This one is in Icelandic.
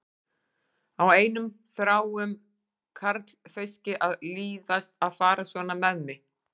Á einum þráum karlfauski að líðast að fara svona með mig?